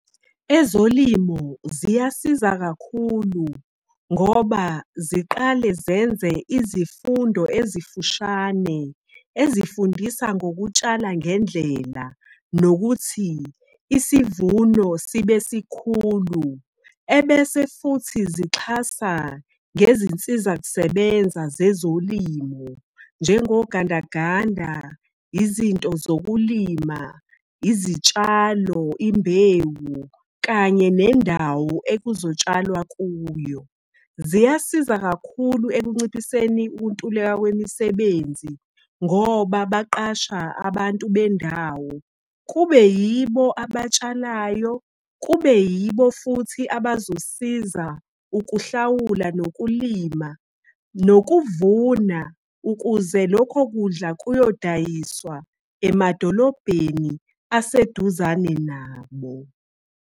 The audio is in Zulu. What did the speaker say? Ezolimo ziyasiza kakhulu, ngoba ziqale zenze izifundo ezifushane. Ezifundisa ngokutshala ngendlela, nokuthi isivuno sibe sikhulu. Ebese futhi zixhasa ngezinsiza kusebenza zezolimo, njengogandaganda, izinto zokulima, izitshalo, imbewu kanye nendawo ekuzotshalwa kuyo. Ziyasiza kakhulu ekunciphiseni ukuntuleka kwemisebenzi, ngoba baqasha abantu bendawo. Kube yibo abatshalayo, kube yibo futhi abazosiza ukuhlawula, nokulima nokuvuna. Ukuze lokho kudla ukuyodayiswa emadolobheni aseduzane nabo.